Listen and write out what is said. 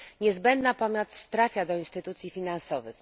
Niezbędna pomoc trafia do instytucji finansowych.